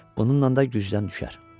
Bununla da gücdən düşər.